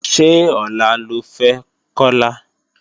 Ṣé ọ̀la lo fẹ́ Kọlà?